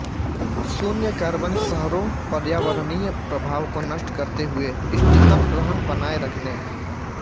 शून्य कार्बन शहरों पर्यावरणीय प्रभाव को नष्ट करते हुए इष्टतम रहन बनाए रखने